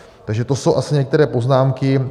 Takže to jsou asi některé poznámky.